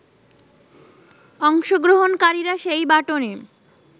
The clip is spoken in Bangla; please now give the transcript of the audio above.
অংশগ্রহণকারীরা সেই বাটনে